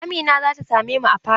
Amina za ta same mu a fada.